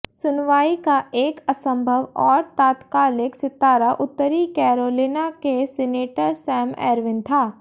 सुनवाई का एक असंभव और तात्कालिक सितारा उत्तरी कैरोलिना के सीनेटर सैम एर्विन था